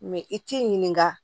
i t'i ɲininka